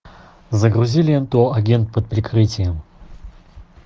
загрузи ленту агент под прикрытием